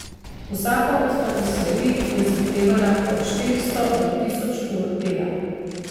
Vsaka od tapiserij je zahtevala od štiristo do tisoč ur dela.